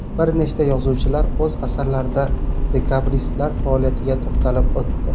Bir nechta yozuvchilar o‘z asarlarida dekabristlar faoliyatiga to‘xtalib o‘tdi.